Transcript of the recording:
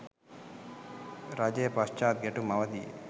රජය පශ්චාත් ගැටුම් අවධියේ